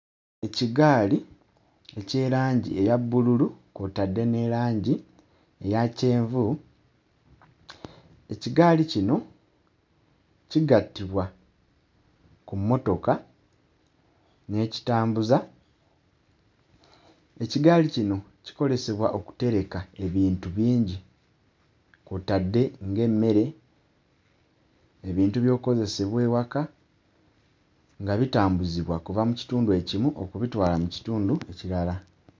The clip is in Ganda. Ekigaali eky'erangi eya bbululu kw'otadde ne langi eya kyenvu. Ekigaali kino kigattibwa ku mmotoka n'ekitambuza. Ekigaali kino kikolesebwa okutereka ebintu bingi kw'otadde ng'emmere, ebintu by'okkozesebwa ewaka nga bitambuzibwa kuva mu kitundu ekimu okubitwala mu kitundu ekirala.